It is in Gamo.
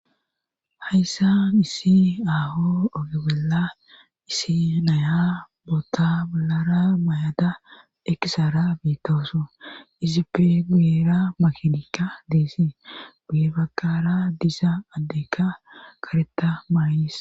Hayssan issi aaho ogebela issi naya boota balara mayada ekisara biitoosu isippe guyera makinikka deesie guye bakara disa addekka kareta maayis..